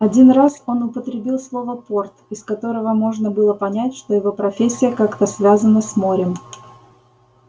один раз он употребил слово порт из которого можно было понять что его профессия как-то связана с морем